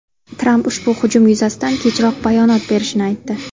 Tramp ushbu hujum yuzasidan kechroq bayonot berishini aytdi .